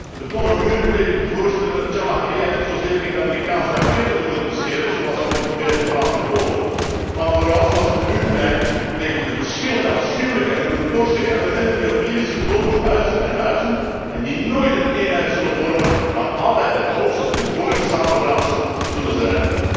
De betonnen muren bleken de voorzitter van de Jamaharia niet zozeer tegen de Amerikaanse raketten te moeten beschermen, zoals hij ons probeerde te laten geloven, maar vooral, zoals nu blijkt, tegen de verschillende afschuwelijke en bloeddorstige elementen die op Libische bodem huisden en huizen, en die nooit een eenheid zullen vormen, maar altijd en hoogstens een gedwongen samenraapsel zullen zijn.